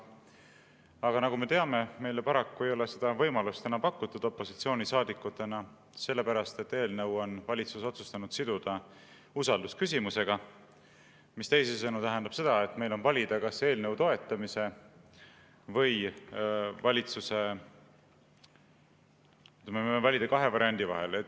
Aga nagu me teame, meile opositsioonisaadikutena ei ole seda võimalust paraku enam pakutud, sest valitsus on eelnõu otsustanud siduda usaldusküsimusega, mis teisisõnu tähendab seda, et me võime valida kahe variandi vahel.